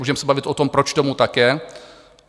Můžeme se bavit o tom, proč tomu tak je.